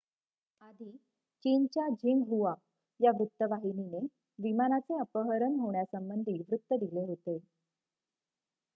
आधी चीनच्या झिंगहुआ या वृत्तवाहिनीने विमानाचे अपहरण होण्यासंबंधी वृत्त दिले होते